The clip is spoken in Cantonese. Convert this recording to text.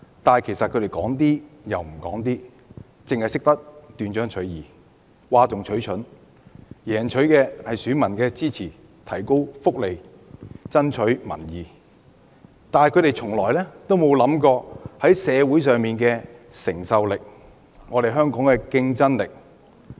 但是，他們說話卻只說一半，只懂斷章取義，譁眾取寵，贏取選民支持，增加福利，爭取民意，但從不考慮社會的承受力和香港的競爭力。